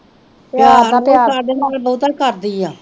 ਪਿਆਰ ਤੇ ਸਾਡੇ ਨਾਲ ਬੋਹਤਾ ਕਰਦੀ ਆ